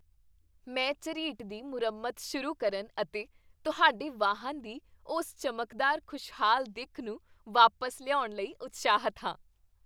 ਮੈਂ ਝਰੀਟ ਦੀ ਮੁਰੰਮਤ ਸ਼ੁਰੂ ਕਰਨ ਅਤੇ ਤੁਹਾਡੇ ਵਾਹਨ ਦੀ ਉਸ ਚਮਕਦਾਰ, ਖੁਸ਼ਹਾਲ ਦਿੱਖ ਨੂੰ ਵਾਪਸ ਲਿਆਉਣ ਲਈ ਉਤਸ਼ਾਹਿਤ ਹਾਂ!